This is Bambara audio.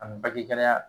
A bɛ bange gɛlɛya